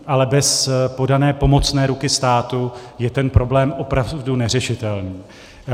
Ale bez podané pomocné ruky státu je ten problém opravdu neřešitelný.